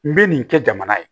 N bɛ nin kɛ jamana ye